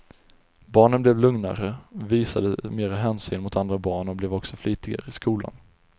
Barnen blev lugnare, visade mera hänsyn mot andra barn och blev också flitigare i skolan.